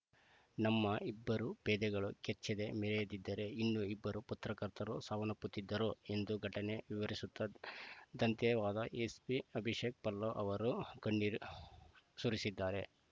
ನಮ್ಮ ಇಬ್ಬರು ಪೇದೆಗಳು ಕೆಚ್ಚೆದೆ ಮೆರೆಯದಿದ್ದರೆ ಇನ್ನೂ ಇಬ್ಬರು ಪತ್ರಕರ್ತರು ಸಾವನ್ನಪ್ಪುತ್ತಿದ್ದರು ಎಂದು ಘಟನೆ ವಿವರಿಸುತ್ತಾ ದಂತೇವಾಡ ಎಸ್ಪಿ ಅಭಿಷೇಕ್‌ ಪಲ್ಲವ್‌ ಅವರು ಕಣ್ಣೀರು ಸುರಿಸಿದ್ದಾರೆ